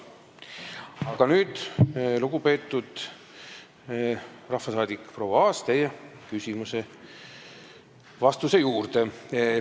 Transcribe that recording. Aga nüüd, lugupeetud rahvasaadik proua Aas, teie küsimuse vastuse juurde.